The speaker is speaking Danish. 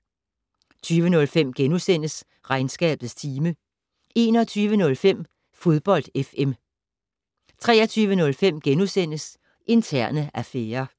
20:05: Regnskabets time * 21:05: Fodbold FM 23:05: Interne affærer *